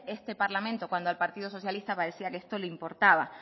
este parlamento cuando al partido socialista parecía que esto le importaba